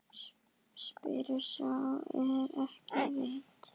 Spyr sá er ekki veit?